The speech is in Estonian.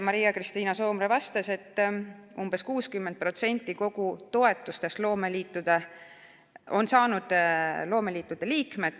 Maria-Kristiina Soomre vastas, et umbes 60% toetustest on saanud loomeliitude liikmed.